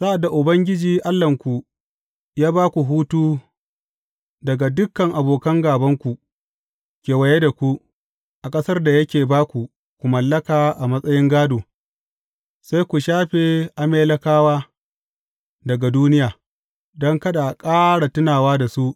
Sa’ad da Ubangiji Allahnku ya ba ku hutu daga dukan abokan gābanku kewaye da ku, a ƙasar da yake ba ku ku mallaka a matsayin gādo, sai ku shafe Amalekawa daga duniya, don kada a ƙara tunawa da su.